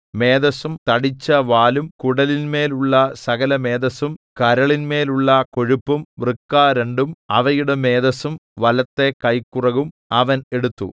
മേദസ്സും തടിച്ചവാലും കുടലിന്മേലുള്ള സകലമേദസ്സും കരളിന്മേലുള്ള കൊഴുപ്പും വൃക്ക രണ്ടും അവയുടെ മേദസ്സും വലത്തെ കൈക്കുറകും അവൻ എടുത്തു